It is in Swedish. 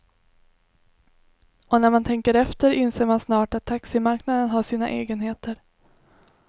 Och när man tänker efter inser man snart att taximarknaden har sina egenheter.